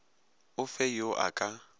o fe yo a ka